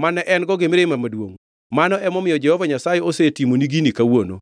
mane en-go gi mirima maduongʼ, mano emomiyo Jehova Nyasaye osetimoni gini kawuono.